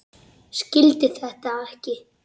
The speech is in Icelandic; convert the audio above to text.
Skildi þetta ekki.